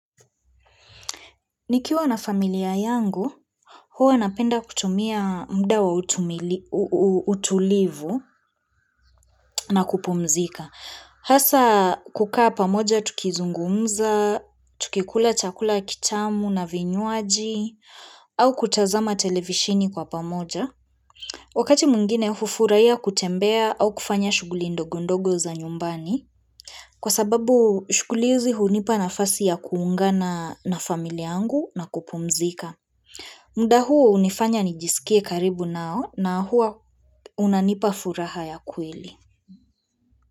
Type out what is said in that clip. Nikiwa na familia yangu, huwa napenda kutumia mda wa utumili utulivu na kupumzika. Hasa kukaa pamoja tukizungumza, tukikula chakula kitamu na vinywaji, au kutazama televishini kwa pamoja. Wakati mwingine hufuraiya kutembea au kufanya shughuli ndogondogo za nyumbani. Kwa sababu shukulizi hunipa na fasi ya kuungana na familia yangu na kupumzika. Mda huu hunifanya nijisikie karibu nao na huo unanipa furaha ya kweli.